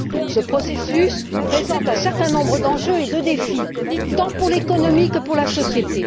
Ce processus présente un certain nombre d'enjeux et de défis, tant pour l'économie que pour la société.